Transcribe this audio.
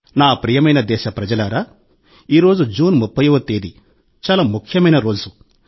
నా ప్రియమైన దేశప్రజలారా ఈరోజు జూన్ 30వ తేదీ చాలా ముఖ్యమైన రోజు